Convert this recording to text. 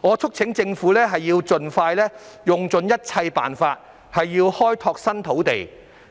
我促請政府盡快用盡一切辦法開拓新土地，